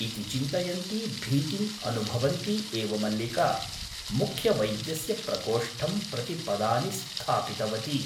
इति चिन्तयन्ती भीतिम् अनुभवन्ती एव मल्लिका मुख्यवैद्यस्य प्रकोष्ठं प्रति पदानि स्थापितवती ।